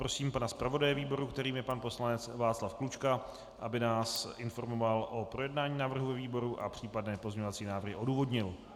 Prosím pana zpravodaje výboru, kterým je pan poslanec Václav Klučka, aby nás informoval o projednání návrhu ve výboru a případné pozměňovací návrhy odůvodnil.